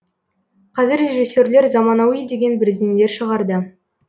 қазір режиссерлер заманауи деген бірдеңелер шығарды